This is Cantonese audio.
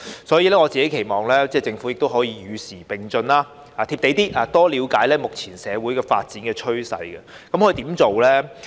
所以，我期望政府能與時並進，"貼地"一點，多了解目前社會發展趨勢。